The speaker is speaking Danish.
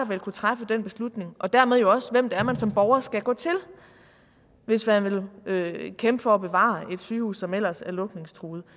vil kunne træffe den beslutning og dermed jo også hvem det er man som borger skal gå til hvis man vil kæmpe for at bevare et sygehus som ellers er lukningstruet